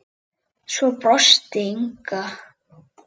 Svo brosti Inga.